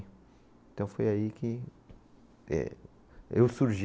Então foi aí que eh, eu surgi.